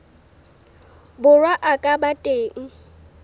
borwa a ka ba teng